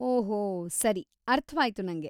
ಓಹೊ, ಸರಿ, ಅರ್ಥ್ವಾಯ್ತು ನಂಗೆ.